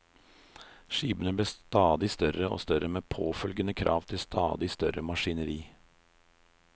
Skipene ble stadig større og større med påfølgende krav til stadig større maskineri.